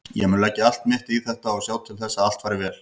Ég mun leggja allt mitt í þetta og sjá til þess að allt fari vel.